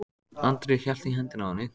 Andri hélt í hendina á henni.